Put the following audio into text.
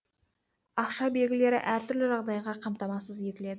ақша белгілері әр түрлі жағдайда қамтамасыз етіледі